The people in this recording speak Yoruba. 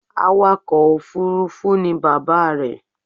Awakọ̀ òfurufú ni bàbá rẹ̀